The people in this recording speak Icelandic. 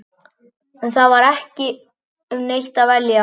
En það var ekki um neitt að velja.